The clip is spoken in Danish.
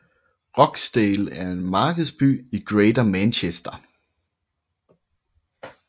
Rochdale er en markedsby i Greater Manchester